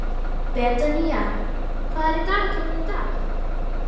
Betanía, hvað er í dagatalinu í dag?